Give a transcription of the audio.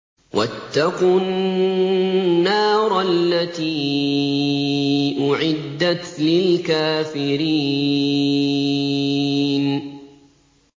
وَاتَّقُوا النَّارَ الَّتِي أُعِدَّتْ لِلْكَافِرِينَ